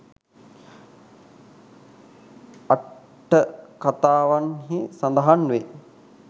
අට්ඨකථාවන්හි සඳහන් වේ.